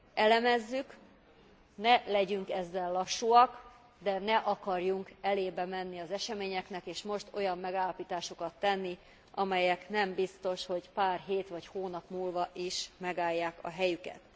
Elemezzük, ne legyünk ezzel lassúak, de ne akarjunk elébe menni az eseményeknek és most olyan megállapításokat tenni, amelyek nem biztos, hogy pár hét vagy hónap múlva is megállják a helyüket.